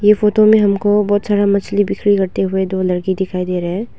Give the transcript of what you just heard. ये फोटो में हमको बहुत सारा मछली बिक्री करते हुए दो लड़की दिखाई दे रहा है।